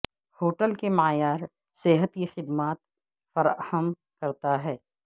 hotel کے معیار صحت کی خدمات فراہم کرتا ہے